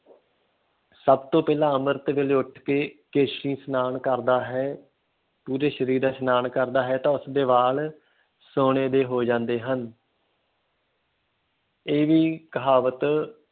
ਸਭ ਤੋਂ ਪਹਿਲਾਂ ਅੰਮ੍ਰਿਤ ਵੇਲੇ ਉੱਠਕੇ ਕੇਸੀ ਇਸ਼ਨਾਨ ਕਰਦਾ ਹੈ, ਪੂਰੇ ਸਰੀਰ ਦਾ ਇਸ਼ਨਾਨ ਕਰਦਾ ਹੈ ਤਾਂ ਉਸਦੇ ਵਾਲ ਸੋਨੇ ਦੇ ਹੋ ਜਾਂਦੇ ਹਨ ਇਹ ਵੀ ਕਹਾਵਤ